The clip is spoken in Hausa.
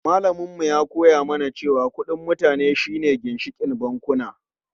Malamin mu ya koya mana cewa kudin mutane shi ne ginshikin bankuna.